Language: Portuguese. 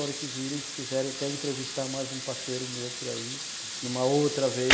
A hora que virem, quiseram até entrevistar mais um parceiro meu por aí, numa outra vez.